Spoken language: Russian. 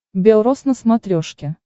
бел роз на смотрешке